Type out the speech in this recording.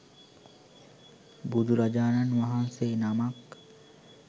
බුදුරජාණන් වහන්සේ නමක්